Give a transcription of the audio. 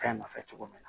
Kan nɔfɛ cogo min na